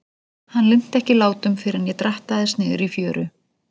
Hann linnti ekki látum fyrr en ég drattaðist niður í fjöru.